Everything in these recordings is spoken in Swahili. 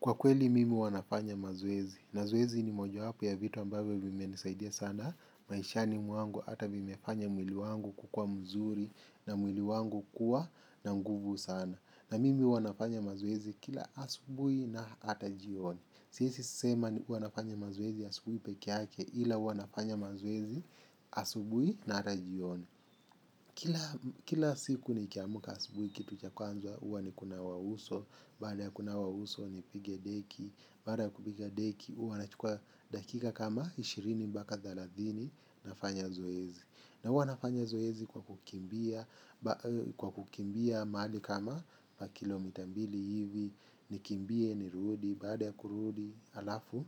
Kwa kweli mimi huwa nafanya mazoezi. Mazoezi ni moja wapo ya vitu ambavyo vimenisaidia sana. Maishani mwangu hata vimefanya mwili wangu kukua mzuri na mwili wangu kuwa na nguvu sana. Na mimi huwa nafanya mazoezi kila asubuhi na hata jioni. Siwezi sema ni huwa nafanya mazoezi asubuhi pekee yake ila huwa nafanya mazoezi asubuhi na hata jioni. Kila siku nikiamuka asubuhi kitu cha kwanza huwa ni kunawa uso. Baada ya kunawa uso nipige deki. Baada ya kupiga deki huwa nachukua dakika kama ishirini mpaka thelathini nafanya zoezi. Na huwa nafanya zoezi kwa kukimbia mahali kama pa kilomita mbili hivi. Nikimbie nirudi baada ya kurudi halafu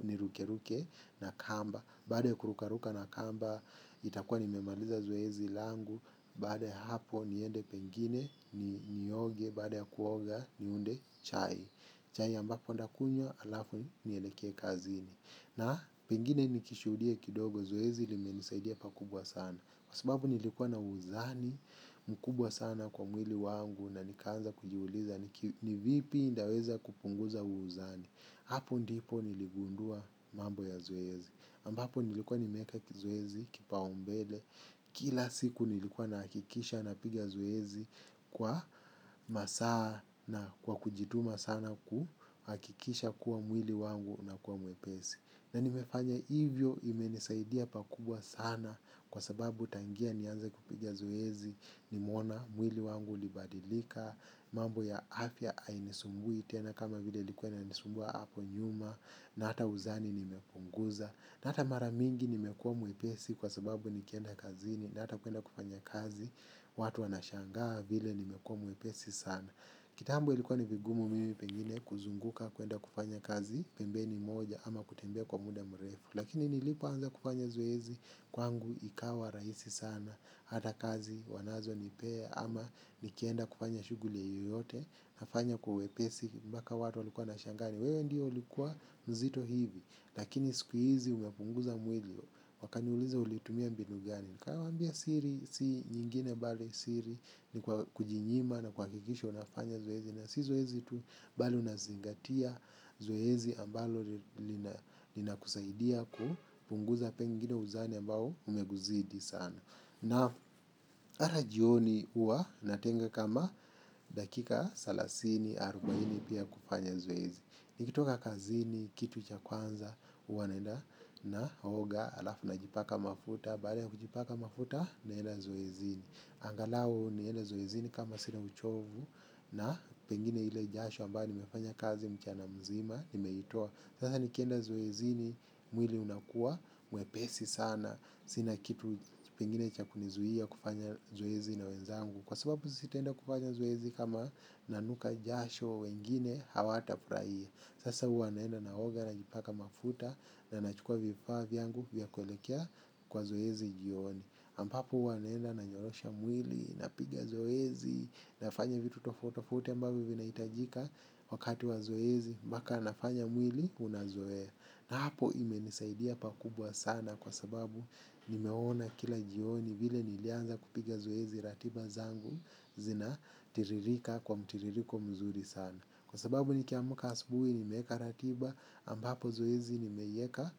ni ruke ruke na kamba. Baada ya kurukaruka na kamba itakuwa nimemaliza zoezi langu. Baada ya hapo niende kwingine ni nioge baada ya kuoga niunde chai. Chai ambapo ndakunywa halafu nieleke kazini. Na pengine nikishuhudia kidogo zoezi limenisaidia pakubwa sana. Kwa sababu nilikuwa na uzani mkubwa sana kwa mwili wangu na nikaanza kujiuliza ni vipi ndaweza kupunguza uzani. Hapo ndipo niligundua mambo ya zoezi. Ambapo nilikuwa nimeeka kizoezi kipaumbele. Kila siku nilikuwa nahakikisha napiga zoezi kwa masaa na kwa kujituma sana kuhakikisha kuwa mwili wangu unakuwa mwepesi. Na nimefanya hivyo imenisaidia pakubwa sana kwa sababu tangia nianze kupiga zuezi. Nimeona, mwili wangu ulibadilika, mambo ya afya ainisumbui tena kama vile ilikuwa inanisumbua hapo nyuma na hata uzani nimepunguza na hata maramingi nimekuwa mwepesi kwa sababu nikienda kazini na hata kuenda kufanya kazi watu wanashangaa vile nimekuwa mwepesi sana kitambo ilikuwa ni vigumu mimi pengine kuzunguka kuenda kufanya kazi pembeni moja ama kutembea kwa muda mrefu lakini nilipoanza kufanya zoezi kwangu ikawa rahisi sana hata kazi wanazonipea ama nikienda kufanya shughuli ya yoyote nafanya kwa wepesi mpaka watu walikuwa wanashangaa ni wewe ndiyo ulikuwa mzito hivi. Lakini sikuhizi umepunguza mwili. Wakaniuliza ulitumia mbinu gani. Nikawaambia siri si nyingine bali siri. Ni kujinyima na kuhakikisha unafanya zoezi. Na si zoezi tu bali unazingatia zoezi ambalo linakusaidia kupunguza pengine uzani ambao umekuzidi sana. Na hata jioni huwa natenga kama dakika salasini arubaini pia kufanya zoezi. Nikitoka kazini, kitu cha kwanza, huwa naenda naoga, halafu najipaka mafuta, baada ya kujipaka mafuta naenda zoezini. Angalau nienda zoezini kama sina uchovu na pengine ile jasho ambayo nimefanya kazi mchana mzima, nimeitoa. Sasa nikienda zoezini, mwili unakuwa, mwepesi sana, sina kitu pengine cha kunizuia kufanya zoezi na wenzangu. Kwa sababu sitaenda kufanya zoezi kama nanuka jasho wengine hawatafurahia. Sasa huwa naenda naoga najipaka mafuta na nachukua vifaa vyangu vya kuelekea kwa zoezi jioni ambapo huwa naenda nanyoosha mwili napiga zoezi nafanya vitu tofauti tofauti ambavyo vinahitajika wakati wa zoezi. Mbaka nafanya mwili unazoe. Na hapo imenisaidia pakubwa sana kwa sababu nimeona kila jioni vile nilianza kupiga zoezi ratiba zangu zina tiririka kwa mtiririko mzuri sana. Kwa sababu nikiamuka asubuhi nimeeka ratiba ambapo zoezi nimeieka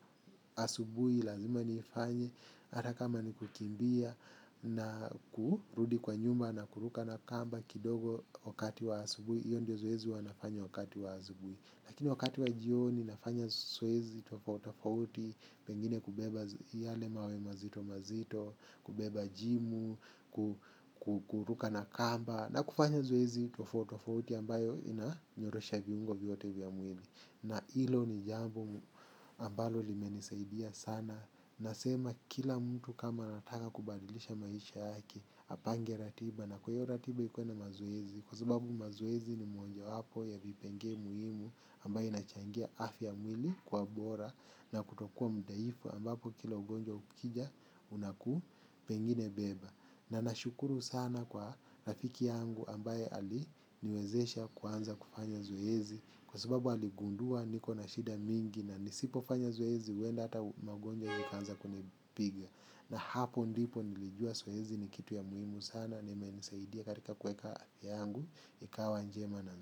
asubuhi lazima nifanye hata kama nikukimbia na kurudi kwa nyumba na kuruka na kamba kidogo wakati wa asubuhi. Iyo ndio zoezi huwa nafanya wakati wa asubuhi. Lakini wakati wa jioni nafanya zoezi tofauti tofauti. Pengine kubeba yale mawe mazito mazito. Kubeba jimu. Kukuruka na kamba. Na kufanya zoezi tofauti tofauti ambayo inanyorosha viungo vyote vya mwili. Na hilo ni jambo ambalo limenisaidia sana. Nasema kila mtu kama anataka kubadilisha maisha yake. Apange ratiba na kwa hiyo ratiba ikuwe na mazoezi kwa sababu mazoezi ni moja wapo ya vipengee muhimu ambayo inachangia afya ya mwili kwa bora na kutokuwa mdhaifu ambapo kila ugonjwa ukija unaku pengine beba. Na nashukuru sana kwa rafiki yangu ambaye aliniwezesha kuanza kufanya zoezi kwa sababu aligundua niko na shida mingi na nisipofanya zoezi huenda hata magonjwa yakaanza kunipiga. Na hapo ndipo nilijua zoezi ni kitu ya muhimu sana. Na imenisaidia katika kuweka yangu. Ikawa njema na njema.